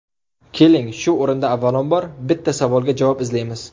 Keling, shu o‘rinda avvalambor, bitta savolga javob izlaymiz.